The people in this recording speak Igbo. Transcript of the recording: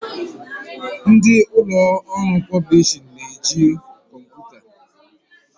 Ndị ụlọ ọrụ pọblishin na eji kọmputa